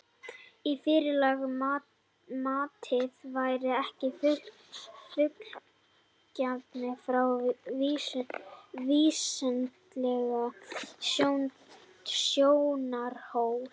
Í fyrra lagi að matið væri ekki fullnægjandi frá vísindalegum sjónarhóli.